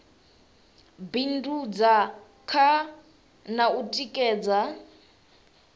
bindudza kha na u tikedza